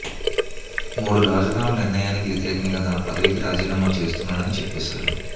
మూడు రాజధానుల నిర్ణయానికి వ్యతిరేకంగా తన పదవికి రాజీనామా చేస్తున్నానని చెప్పేశారు